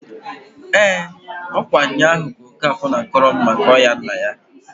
EEǃ Ọ̣kwa nnyaahu ka Okafor na-akọrọ m maka ọya nna ya.